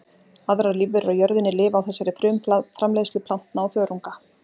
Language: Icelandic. Aðrar lífverur á jörðinni lifa á þessari frumframleiðslu plantna og þörunga.